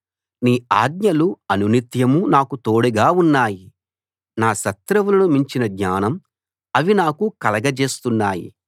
నీ ఆజ్ఞలు అనునిత్యం నాకు తోడుగా ఉన్నాయి నా శత్రువులను మించిన జ్ఞానం అవి నాకు కలగజేస్తున్నాయి